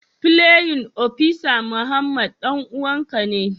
playin opisa Muhammad danuwan ka ne?